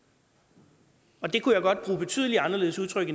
det og det kunne jeg godt bruge betydelig anderledes udtryk